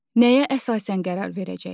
Nəyə əsasən qərar verəcək?